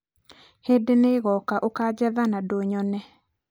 Hĩndĩ nĩĩgoka ũkanjetha na ndũnyone